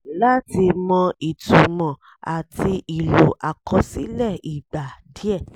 láti mọ ìtumọ̀ àti ìlò àkọsílẹ̀ ìgbà díẹ̀.